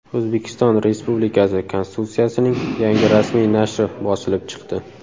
O‘zbekiston Respublikasi Konstitutsiyasining yangi rasmiy nashri bosilib chiqdi.